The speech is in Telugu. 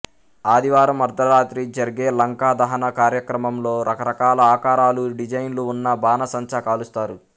ఆదివారం అర్థరాత్రి జర్గే లంకాదహన కార్యక్రమంలో రకరకాల ఆకారాలు డిజైన్లు ఉన్న బాణాసంచా కాలుస్తారు